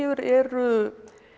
eru